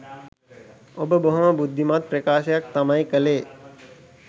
ඔබ බොහොම බුද්ධිමත් ප්‍රකාශයක් තමයි කලේ.